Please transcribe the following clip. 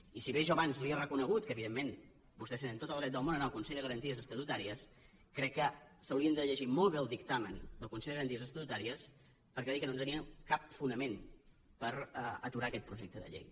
i si bé jo abans li he reconegut que evidentment vostès tenen tot el dret del món a anar al consell de garanties estatutàries crec que s’haurien de llegir molt bé el dictamen del consell de garanties estatutàries perquè va dir que no tenien cap fonament per aturar aquest projecte de llei